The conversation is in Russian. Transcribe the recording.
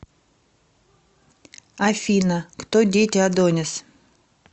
афина кто дети адонис